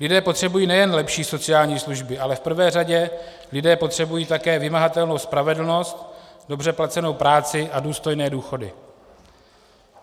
Lidé potřebují nejen lepší sociální služby, ale v prvé řadě lidé potřebují také vymahatelnou spravedlnost, dobře placenou práci a důstojné důchody.